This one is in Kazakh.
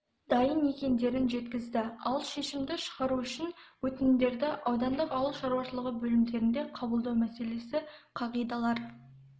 дайын екендіктерін жеткізді ал шешімді шығару үшін өтінімдерді аудандық ауыл шаруашылығы бөлімдерінде қабылдау мәселесі қағидалар